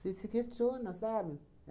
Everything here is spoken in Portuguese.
Você se questiona, sabe?